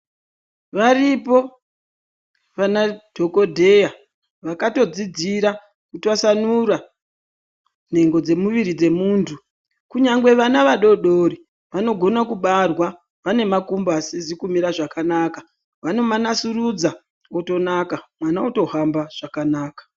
Varipo vanadhogodheya vakatodzodzira kutwasanura nhengo dzemuviri dzemuntu. Kunyangwe vana vadoodori vanogona kubarwa vanemakumbo asizi kumira zvakanaka, vanomanasurudza otonaka, mwana otohamba zvakanaka.